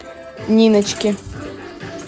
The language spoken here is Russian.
ниночке